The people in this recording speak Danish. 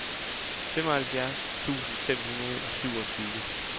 femoghalvfjerds tusind fem hundrede og syvogtyve